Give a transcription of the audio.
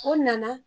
O nana